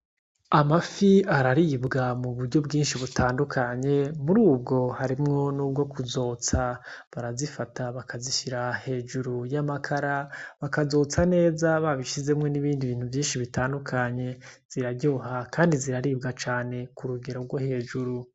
Amafi araribwa mu buryo bwinshi butandukanye murubwo harimwo nubwo kuzotsa barazifata bakazishira hejuru y'amakara bakazotsa neza babishizemwo nibindi bintu vyinshi bitandukanye ziraryoha kandi ziraribwa cane kurugero rwo hejuru.